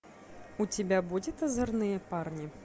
у тебя будет озорные парни